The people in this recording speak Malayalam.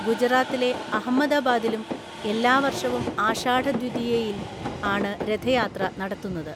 ഗുജറാത്തിലെ അഹമ്മദാബാദിലും എല്ലാവര്‍ഷവും ആഷാഢദ്വിതിയയില്‍ ആണ് രഥയാത്ര നടത്തുന്നത്.